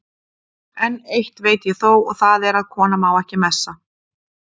En eitt veit ég þó, og það er að kona má ekki messa.